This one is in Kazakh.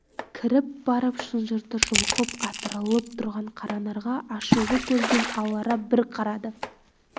кіріп барып шынжырды жұлқып атырылып тұрған қаранарға ашулы көзбен алара бір қарады